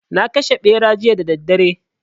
Na kashe Ɓera jiya da daddare